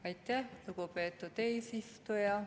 Aitäh, lugupeetud eesistuja!